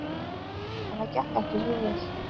En það gekk ekki svo vel.